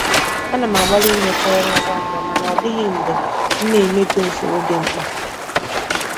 Ana m agbalị imecha ọrụ ngwa ngwa mana ọ dịghị mgbe m na-emebi usoro dị mkpa.